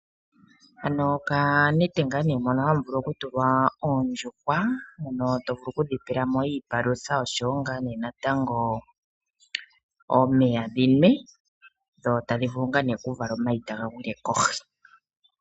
Hano oka nete ngaa ne mono hamu vuku oku tulwa oondjuhwa, mono to vulu okudhi pelamo iipalutha nosho wo ngaa ne natango omeya dhinwe, dho tadhi vulu ngaa ne oku vala omayi taga gwile kohi.